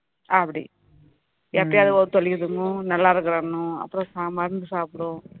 அப்படி எப்பயாவது வயிறு வலிக்குதுன்னு நல்லா இருக்கிறன்னும் அப்பறோம் மருந்து சாப்பிடும்